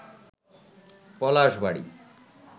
Palashbari